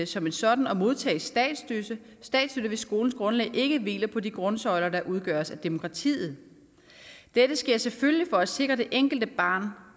som en sådan og modtage statsstøtte hvis skolens grundlag ikke hviler på de grundsøjler der udgøres af demokratiet dette sker selvfølgelig for at sikre at det enkelte barn